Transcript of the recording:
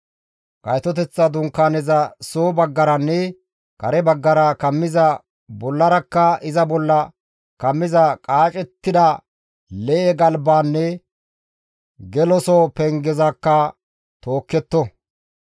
Gaytoteththa Dunkaaneza soo baggaranne kare baggara kammiza bollarakka iza bolla kammiza qaacettida lee7e galbaanne geloso pengezakka tookketto.